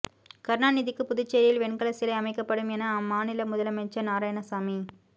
கருணாநிதிக்கு புதுச்சேரியில் வெண்கல சிலை அமைக்கப்படும் என அம்மாநில முதலமைச்சர் நாராயணசாமி